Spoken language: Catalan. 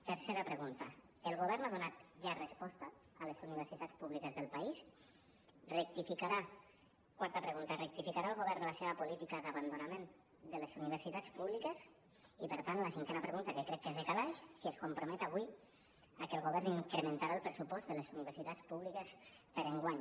tercera pregunta el govern ha donat ja resposta a les universitats públiques del país quarta pregunta rectificarà el govern la seva política d’abandonament de les universitats públiques i per tant la cinquena pregunta que crec que és de calaix si es compromet avui a que el govern incrementarà el pressupost de les universitats públiques per a enguany